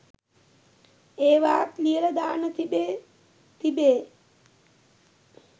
ඒවාත් ලියල දාන්න තිබේ තිබේ !